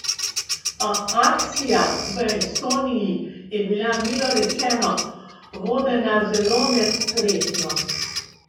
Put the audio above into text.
A akcija v Estoniji je bila milo rečeno vodena zelo nespretno.